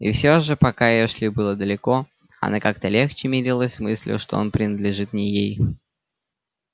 и всё же пока эшли была далеко она как-то легче мирилась с мыслью что он принадлежит не ей